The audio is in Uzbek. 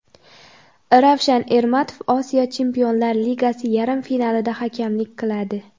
Ravshan Ermatov Osiyo Chempionlar ligasi yarim finalida hakamlik qiladi.